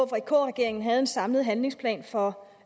regeringen en samlet handlingsplan for